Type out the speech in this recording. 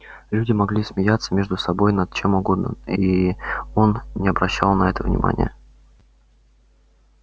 люди могли смеяться между собой над чем угодно и он не обращал на это внимания